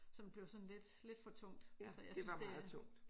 Som blev sådan lidt lidt for tungt så jeg synes det